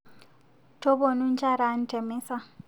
Toponu njaraan temeza